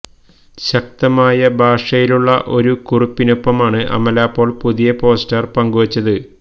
ശക്തമായ ഭാഷയിലുള്ള ഒരു കുറിപ്പിനൊപ്പമാണ് അമല പോൾ പുതിയ പോസ്റ്റർ പങ്കുവെച്ചത്